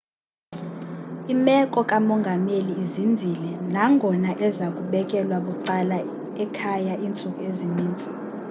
imeko kamongameli izinzile nangona eza kubekelwa bucala ekhaya iintsuku ezininzi